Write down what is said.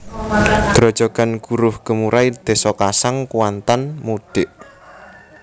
Grojogan Guruh Gemurai Désa Kasang Kuantan Mudik